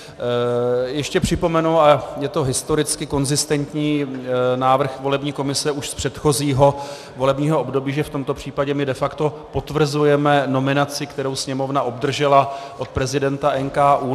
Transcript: Ještě připomenu, a je to historicky konzistentní návrh volební komise už z předchozího volebního období, že v tomto případě my de facto potvrzujeme nominaci, kterou Sněmovna obdržela od prezidenta NKÚ.